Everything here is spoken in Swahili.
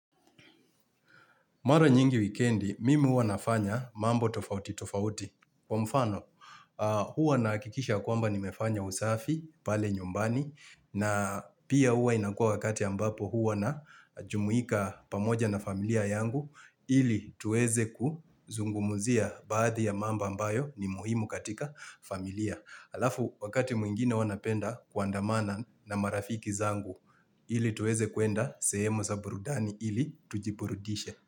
Mara nyingi wikendi, mimi huwa nafanya mambo tofauti tofauti. Kwa mfano, huwa nahakikisha ya kwamba nimefanya usafi pale nyumbani, na pia huwa inakuwa wakati ambapo huwa najumuika pamoja na familia yangu ili tuweze kuzungumzia baadhi ya mambo ambayo ni muhimu katika familia. Alafu wakati mwingine huwa napenda kuandamana na marafiki zangu ili tuweze kuenda sehemu za burudani ili tujiburudishe.